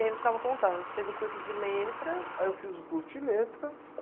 E aí você estava contando, você fez o curso de letras... Aí eu fiz o curso de letras...